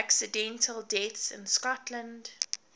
accidental deaths in scotland